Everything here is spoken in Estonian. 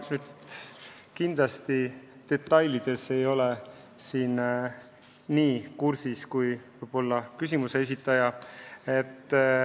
Ma ei ole nende detailidega nii hästi kursis kui küsimuse esitaja.